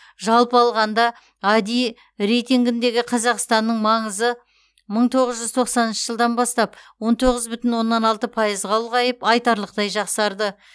жалпы алғанда ади рейтингіндегі қазақстанның маңызы мың тоғыз жүз тоқсаныншы жылдан бастап он тоғыз бүтін оннан алты пайызға ұлғайып айтарлықтай жақсарды